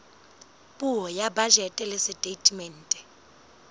puo ya bajete le setatemente